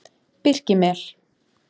Birkimel